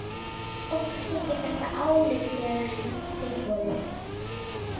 Okkur þykir þetta álitlegasta tilboðið